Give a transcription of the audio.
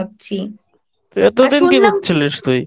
এত দিন কি করছিলিস?